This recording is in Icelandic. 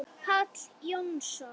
Páll Jónsson